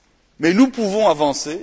Mais nous pouvons avancer.